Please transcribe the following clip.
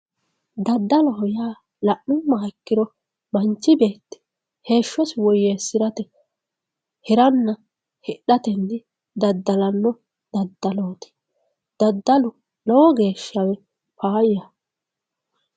daddaloho yaa la'nummoha ikkiro manchi beetti heeshshosi woyyeessirate hiranna hidhatenni daddalanno daddalooti daddalu lowo geeshshawe faayyaho.